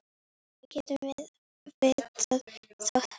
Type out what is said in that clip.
Hvernig getum við vitað það?